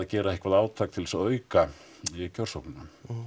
gera eitthvað átak til þess að auka kjörsóknina